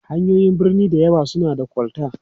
hanyoyin birni da yawan su na da kol ta